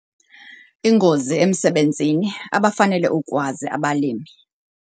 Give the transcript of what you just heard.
Iingozi emsebenzini - abafanele ukukwazi abalimi